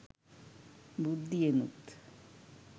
බුද්ධියෙනුත්